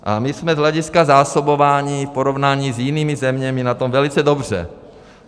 A my jsme z hlediska zásobování v porovnání s jinými zeměmi na tom velice dobře.